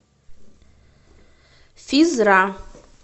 физ ра